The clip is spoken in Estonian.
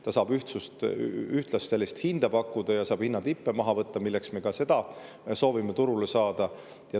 Ta saab ühtlast hinda pakkuda ja saab hinnatippe maha võtta ja selleks me ka seda soovime turule saada.